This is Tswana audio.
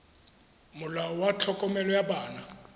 molao wa tlhokomelo ya bana